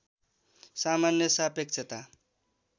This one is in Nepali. सामान्य सापेक्षता